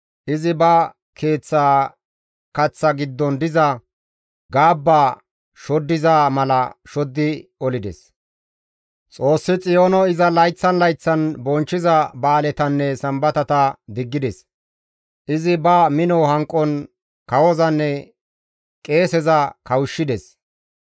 Izi ba keeththa kaththa giddon diza gaabba shoddiza mala shoddi olides; Xoossi Xiyoono iza layththan layththan bonchchiza ba7aaletanne sambatata diggides; izi ba mino hanqon kawozanne qeeseza kawushshides.